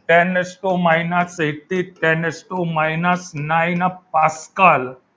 ten raise to minus eighty ten raise to minus nine pascal